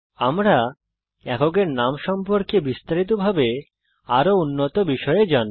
আমরা এককের নাম সম্পর্কে বিস্তারিত ভাবে আরো উন্নত বিষয়ে জানব